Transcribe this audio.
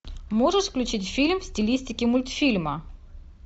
можешь включить фильм в стилистике мультфильма